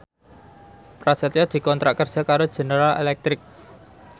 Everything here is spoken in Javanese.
Prasetyo dikontrak kerja karo General Electric